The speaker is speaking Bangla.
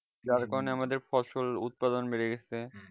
যার কারণে ফসল আমাদের উৎপাদন বেড়ে গাছে